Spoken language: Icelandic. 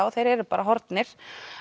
og þeir eru bara horfnir